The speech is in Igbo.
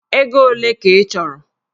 Ego ole ka ị chọrọ?